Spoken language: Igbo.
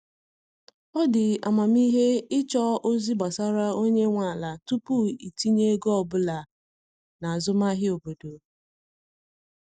Ọ dị amamihe ịchọ ozi gbasara onye nwe ala tupu itinye ego ọbụla n'azụmahịa obodo.